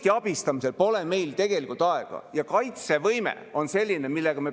Mina soovitan Isamaal mitte iga päev eelnõu esitada, siis tuleb ka mõni kvaliteetne tekst äkki ja mitte selline praak nagu see.